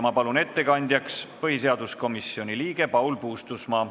Ma palun ettekandjaks põhiseaduskomisjoni liikme Paul Puustusmaa.